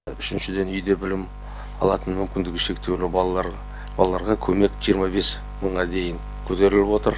үшіншіден үйде білім алатын мүмкіндігі шектеулі балалар балаларға көмек жиырма бес мыңға дейін көтеріліп отыр